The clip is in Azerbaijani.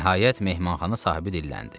Nəhayət, mehmanxana sahibi dilləndi.